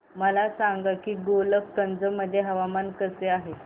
मला सांगा की गोलकगंज मध्ये हवामान कसे आहे